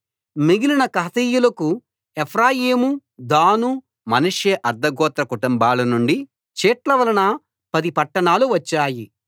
మిగిలిన కహాతీయులకు Ephraim Dan Manasseh అర్థ గోత్ర కుటుంబాల నుండి చీట్ల వలన పది పట్టణాలు వచ్చాయి